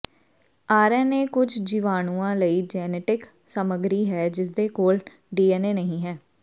R N A ਕੁਝ ਜੀਵਾਣੂਆਂ ਲਈ ਜੈਨੇਟਿਕ ਸਾਮੱਗਰੀ ਹੈ ਜਿਸਦੇ ਕੋਲ ਡੀਐਨਏ ਨਹੀਂ ਹੈ